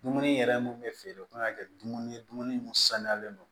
Dumuni yɛrɛ mun bɛ feere o kan ka kɛ dumuni ye dumuni mun sanuyalen don